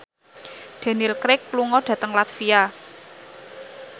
Daniel Craig lunga dhateng latvia